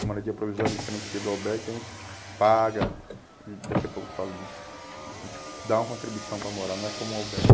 A moradia provisória diferencia do albergue, que a gente paga, daqui a pouco falo disso, a gente dá uma contribuição para morar, não é como o albergue.